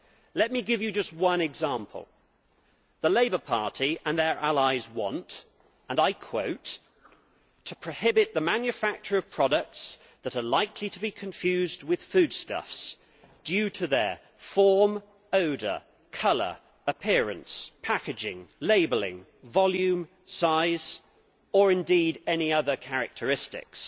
Let me give you just one example the Labour Party and their allies want to prohibit the manufacture of products that are likely to be confused with foodstuffs due to their form, odour, colour, appearance, packaging, labelling, volume, size' or indeed any other characteristics.